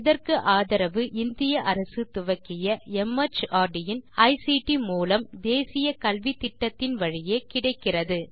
இதற்கு ஆதரவு இந்திய அரசு துவக்கிய மார்ட் இன் ஐசிடி மூலம் தேசிய கல்வித்திட்டத்தின் வழியே கிடைக்கிறது